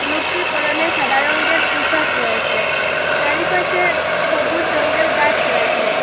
লোকটির পরনে সাদা রঙ্গের পুশাক রয়েসে চারিপাশে সবুজ রঙ্গের গাস রয়েসে।